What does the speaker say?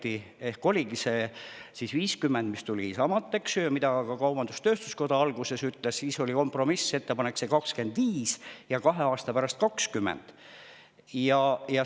Esimene ettepanek oligi see 50%, mis tuli Isamaalt ja mida ka kaubandus-tööstuskoda alguses toetas, aga siis tuli kompromissettepanek: 25% ja kahe aasta pärast 20%.